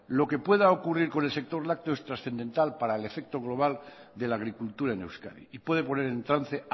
lo que pueda ocurrir con el sector lácteo es trascendental para el efecto global de la agricultura en euskadi y puede poner en trance